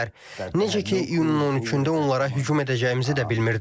Necə ki, iyunun 13-də onlara hücum edəcəyimizi də bilmirdilər.